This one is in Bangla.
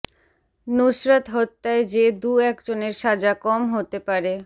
নুসরাত হত্যায় যে দু একজনের সাজা কম হতে পারে